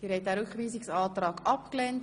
Sie haben den Rückweisungsantrag abgelehnt.